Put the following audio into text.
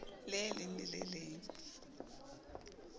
le leng le le leng